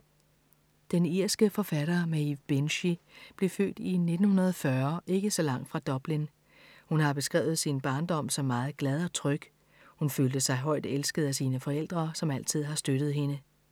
Den irske forfatter Maeve Binchy blev født i 1940 ikke så langt fra Dublin. Hun har beskrevet sin barndom som meget glad og tryg. Hun følte sig højt elsket af sine forældre, som altid har støttet hende.